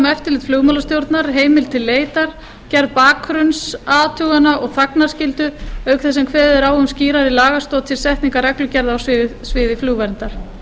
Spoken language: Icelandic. eftirlit flugmálastjórnar heimild til leitar gerð bakgrunnsathugana og þagnarskyldu auk þess sem kveðið er á um skýrari lagastoð til setningar reglugerða á sviði flugverndar